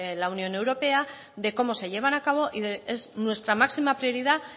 la unión europea de cómo se llevan a cabo y es nuestra máxima prioridad